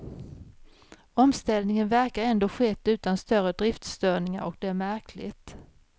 Omställningen verkar ändå skett utan större driftsstörningar och det är märkligt.